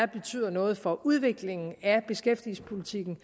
betyder noget for udviklingen af beskæftigelsespolitikken